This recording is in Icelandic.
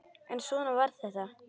En svona var þetta.